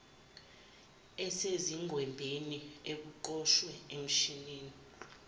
esezingqwembeni okuqoshwe emshinini